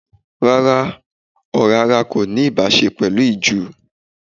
Rárá, ọ̀rá ara kò ní ìbáṣe pẹ̀lú ìju.